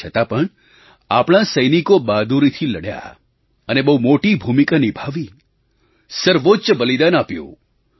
તેમ છતાં પણ આપણા સૈનિકો બહાદુરીથી લડ્યા અને બહુ મોટી ભૂમિકા નિભાવી સર્વોચ્ચ બલિદાન આપ્યું